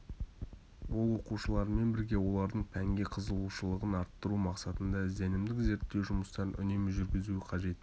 ол оқушылармен бірге олардың пәнге қызығушылығын арттыру мақсатында ізденімдік-зерттеу жұмыстарын үнемі жүргізуі қажет